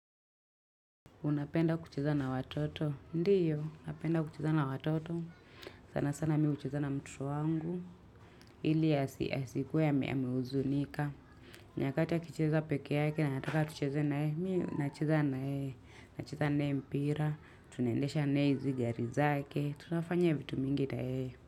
Unapenda kucheza na watoto? Ndiyo, napenda kucheza na watoto. Sana sana mimi hucheza na mtoto wangu. Ili asikuwe ame huzunika. Nyakati akicheza peke yake anataka tucheze na yeye. Mimi nacheza na yeye. Nacheza naye mpira tunaendesha naye hizi gari zake tunafanya vitu mingi na yeye.